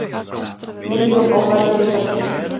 Milljón ólæsir í Serbíu